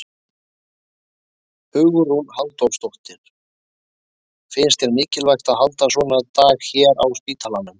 Hugrún Halldórsdóttir: Finnst þér mikilvægt að halda svona daga hérna á spítalanum?